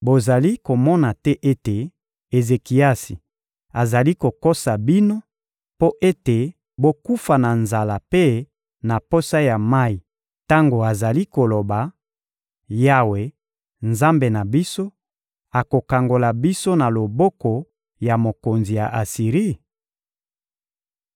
Bozali komona te ete Ezekiasi azali kokosa bino mpo ete bokufa na nzala mpe na posa ya mayi tango azali koloba: ‹Yawe, Nzambe na biso, akokangola biso na loboko ya mokonzi ya Asiri?›